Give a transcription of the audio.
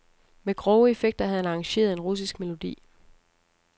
Med grove effekter havde han arrangeret en russisk melodi.